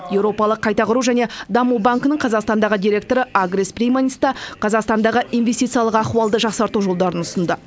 еуропалық қайта құру және даму банкінің қазақстандағы директоры агрис прейманис та қазақстандағы инвестициялық ахуалды жақсарту жолдарын ұсынды